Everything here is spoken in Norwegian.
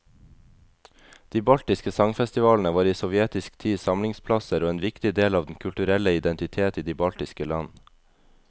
De baltiske sangfestivalene var i sovjetisk tid samlingsplasser og en viktig del av den kulturelle identitet i de baltiske land.